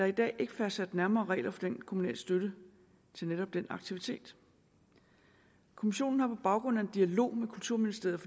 i dag ikke fastsat nærmere regler for den kommunale støtte til netop den aktivitet kommissionen har på baggrund af en dialog med kulturministeriet